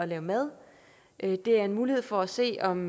lave mad det er en mulighed for at se om